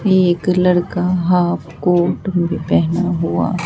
एक लड़का half coat में पहना हुआ--